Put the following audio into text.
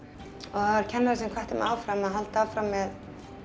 þar var kennari sem hvatti mig áfram að halda áfram með